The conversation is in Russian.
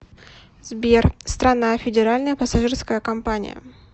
сбер страна федеральная пассажирская компания